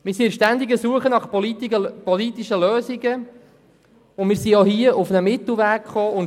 Wir sind ständig auf der Suche nach politischen Lösungen und haben hier einen Mittelweg gefunden.